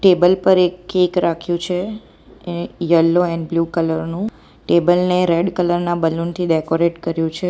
Table પર એક cake રાખ્યું છે એ યલો એન્ડ બ્લુ કલર નું ટેબલ ને રેડ કલર ના બલૂન થી ડેકોરેટ કર્યું છે.